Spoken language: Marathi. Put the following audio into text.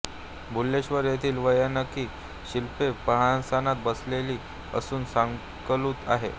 भुलेश्वर येथील वैनायकी शिल्पे पद्मासनात बसलेली असून सालंकृत आहेत